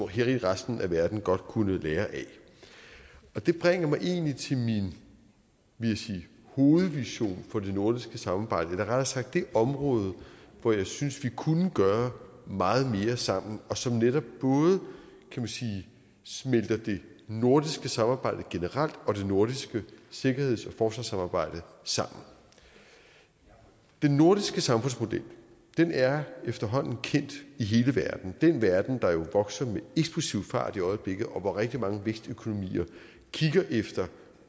hele resten af verden godt kunne lære af det bringer mig egentlig til min vil jeg sige hovedvision for det nordiske samarbejde eller rettere sagt det område hvor jeg synes vi kunne gøre meget mere sammen og som netop både smelter det nordiske samarbejde generelt og det nordiske sikkerheds og forsvarssamarbejde sammen den nordiske samfundsmodel er efterhånden kendt i hele verden den verden der jo vokser med eksplosiv fart i øjeblikket og hvor rigtig mange vækstøkonomier kigger efter